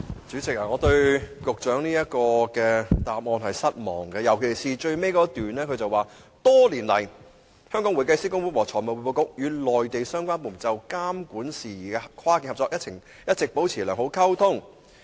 主席，我對局長的主體答覆感到失望，尤其是最後一段所述："多年來，香港會計師公會和財務匯報局與內地相關部門就監管事宜的跨境合作一直保持良好溝通。